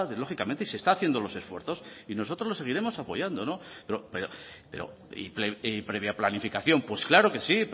lógicamente se está haciendo los esfuerzos y nosotros lo seguiremos apoyando pero previa planificación pues claro que sí